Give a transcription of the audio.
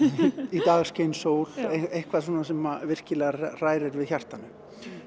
í dag skein sól eitthvað svona sem virkilega hrærir við hjartanu